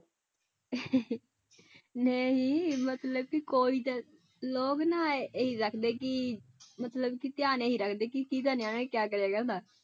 ਨਹੀਂ ਮਤਲਬ ਵੀ ਕੋਈ ਤਾਂ ਲੋਕ ਨਾ ਇਹੀ ਰੱਖਦੇ ਕਿ ਮਤਲਬ ਕਿ ਧਿਆਨ ਇਹੀ ਰੱਖਦੇ ਕਿ ਕਿਹਦਾ ਨਿਆਣਾ ਕਿਆ ਕਰਿਆ ਕਰਦਾ।